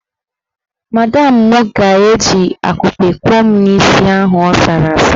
Madamụ mụ ga-eji akupe kuo n'isi ahụ asara asa.